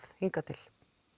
hingað til